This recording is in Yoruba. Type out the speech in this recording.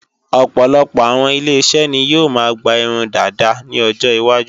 Ọ̀pọ̀lọpọ̀ àwọn ile-iṣẹ́ ni yóò máa gba irun dàda ní ọjọ iwájú